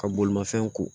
Ka bolimafɛn ko